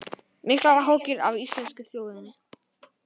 Miklar áhyggjur af íslensku þjóðinni